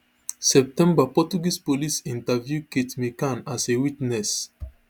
september portuguese police interview kate mccann as a witness